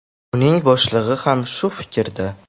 Uning boshlig‘i ham shu fikrda.